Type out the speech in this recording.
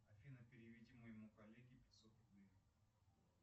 афина переведи моему коллеге пятьсот рублей